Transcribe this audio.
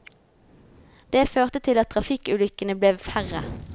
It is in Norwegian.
Det førte til at trafikkulykkene ble færre.